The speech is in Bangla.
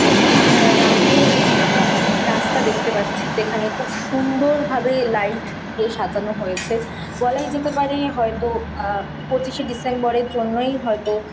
একটি এ রাতের কোনো রাস্তা দেখতে পাচ্ছি। যেখানে খুব সুন্দরভাবে লাইট দিয়ে সাজানো হয়েছে। বলাই যেতে পারে হয়তো পঁচিশে ডিসেম্বর -এর জন্যই হয়তো।